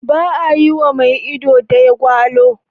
Ba a yi wa mai ido daya gwalo.